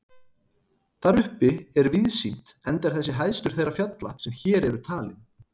Þar uppi er víðsýnt enda er þessi hæstur þeirra fjalla sem hér eru talin.